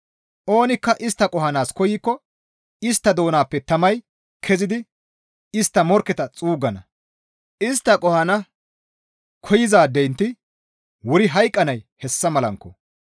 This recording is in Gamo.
Oonikka istta qohanaas koykko istta doonappe tamay kezidi istta morkketa xuuggana; istta qohana koyzaadenti wuri hayqqanay hessa malankko.